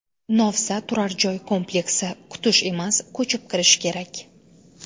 Novza turar joy kompleksi: Kutish emas, ko‘chib kirish kerak!.